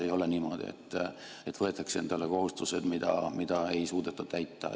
Ei ole niimoodi, et võetakse endale kohustused, mida ei suudeta täita.